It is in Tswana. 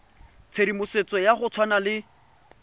tshedimosetso ya go tshwana le